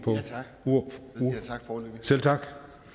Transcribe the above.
selv tak